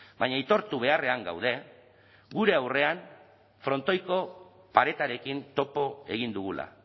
baina aitortu beharrean gaude gure aurrean frontoiko paretarekin topo egin dugula